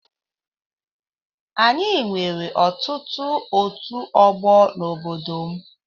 Anyị nwere ọtụtụ ọtu ọgbọ n'obodo m